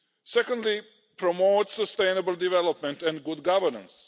Secondly, to promote sustainable development and good governance.